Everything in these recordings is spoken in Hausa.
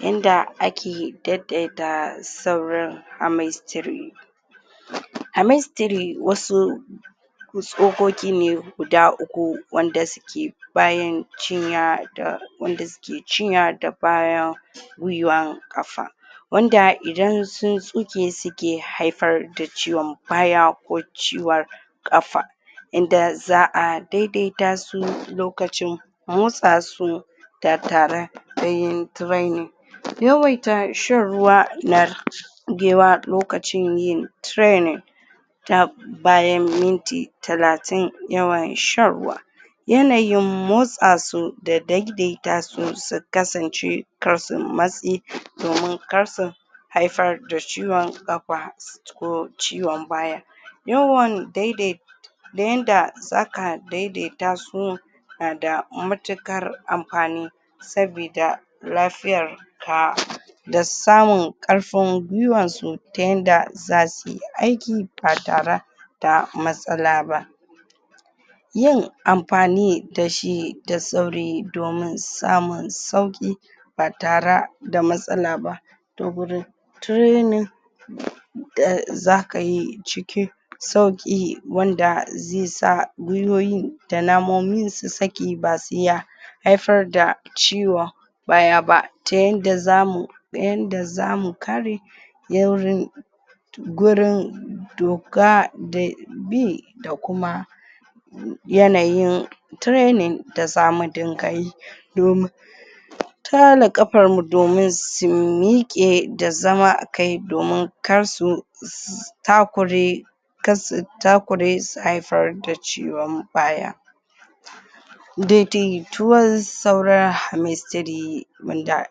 yanda ake dai-dai ta saurin wasu tsokoki ne guda uku wanda suke bayan cinya da wanda suke cinya da baya gwiwa ƙafa wanda idan sun tsuke suke haifar da ciwon baya ko ciwon ƙafa yanda za'a dai-daita su lokacin motsa su da yin training yawaita shan ruwa na da yawa lokacin yin training ta bayan minti talatin yawan shan ruwa yanayin motsa su da dai-dai ta su su kasance kar su matsi domin kar su haifar da ciwon ƙafa ko ciwon baya yawan dai-dai da yanda zaka dai-dai ta su na da matuƙar amfani sabida lafiyar ka da samun ƙarfin gwiwan su ta yanda zasu yi aiki ba tara da matsala ba yin amfani da shi da sauri domin samun sauƙi ba tara da matsala ba ta gurin training da zaka yi cikin sauƙi wanda ze sa gwiwowi da namomin su sake ba tsiya haifar da ciwo baya ba ta yanda zamu ta yanda zamu kare gurin doka da bi da kuma yanayin training da zamu dinga yi domin tale ƙafar mu domin su miƙe da zama kai domin kar su takure kar su takure su haifar da ciwon baya da-daituwan saura wanda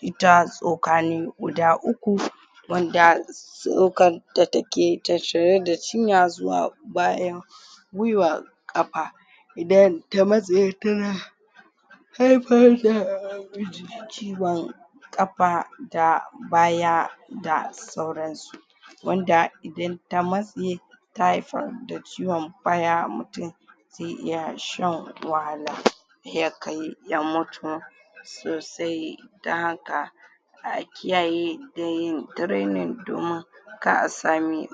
ita tsoka ne guda uku wanda tsokar da take tattare da cinya zuwa baya gwiwa ƙafa idan ta matse tana haifar da ciwon ƙafa da baya da sauran su wanda idan ta matse ta haifar da ciwon baya, mutum ze iya shan wahala ya kai ya mutu to sai dan haka a kiyaye da yin training domin kar a sami